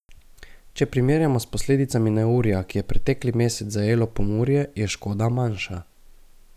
Če primerjamo s posledicami neurja, ki je pretekli mesec zajelo Pomurje, je škoda manjša.